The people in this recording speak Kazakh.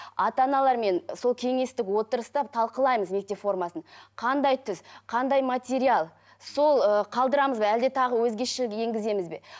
ата аналармен сол кеңестік отырыста талқылаймыз мектеп формасын қандай түс қандай материал сол ыыы қалдырамыз ба әлде тағы өзгешелік енгіземіз бе